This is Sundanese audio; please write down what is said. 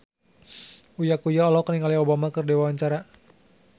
Uya Kuya olohok ningali Obama keur diwawancara